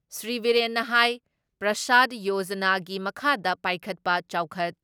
ꯁ꯭ꯔꯤ ꯕꯤꯔꯦꯟꯅ ꯍꯥꯏ ꯄ꯭ꯔꯁꯥꯗ ꯌꯣꯖꯅꯥꯒꯤ ꯃꯈꯥꯗ ꯄꯥꯏꯈꯠꯄ ꯆꯥꯎꯈꯠ